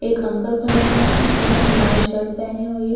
एक अंकल खड़े हुए हैं जिन्होंने लाल शर्ट पहनी हुई है।